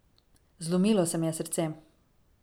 Zlomilo se mi je srce.